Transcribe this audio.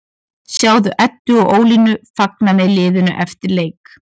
Sjáðu Eddu og Ólínu fagna með liðinu eftir leik